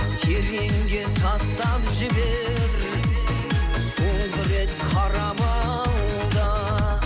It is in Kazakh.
тереңге тастап жібер соңғы рет қарап ал да